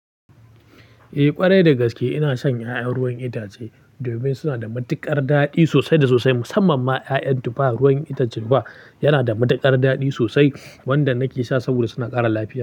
Eh ƙwarai dagaske ina shan ya'yan ruwan itace domin suna da matuƙar daɗi sosai da sosai musamman ma ya'yan tuffa ruwan itacen tuffah yana da matuƙar daɗi sosai wanda nake sha saboda suna ƙara lafiya.